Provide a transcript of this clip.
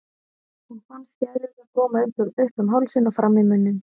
Hún fann skælurnar koma upp um hálsinn og fram í munninn.